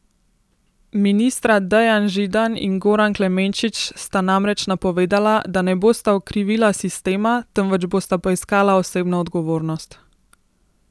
Ministra Dejan Židan in Goran Klemenčič sta namreč napovedala, da ne bosta okrivila sistema, temveč bosta poiskala osebno odgovornost.